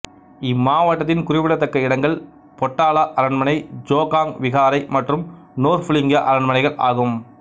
இம்மாவட்டத்தின் குறிப்பிடத்தக்க இடங்கள் பொட்டலா அரண்மனை ஜோகாங் விகாரை மற்றும் நோர்புலிங்கா அரண்மனைகள் ஆகும்